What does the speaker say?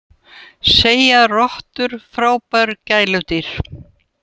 Segja rottur frábær gæludýr